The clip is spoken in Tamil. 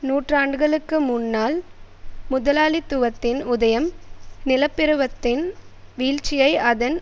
நூற்றாண்டுகளுக்கு முன்னால் முதலாளித்துவத்தின் உதயம் நிலப்பிரவத்தின் வீழ்ச்சியை அதன்